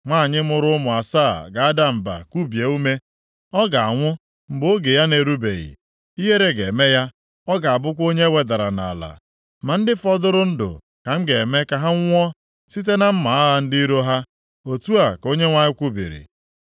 Nwanyị mụrụ ụmụ asaa ga-ada mba, kubie ume. Ọ ga-anwụ mgbe oge ya na-erubeghị, ihere ga-eme ya; ọ ga-abụkwa onye e wedara nʼala. Ma ndị fọdụrụ ndụ ka m ga-eme ka ha nwụọ site na mma agha ndị iro ha.” Otu a ka Onyenwe anyị kwubiri.